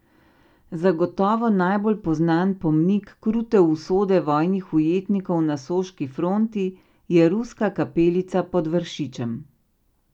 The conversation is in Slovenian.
Zagotovo najbolj poznan pomnik krute usode vojnih ujetnikov na soški fronti je Ruska kapelica pod Vršičem.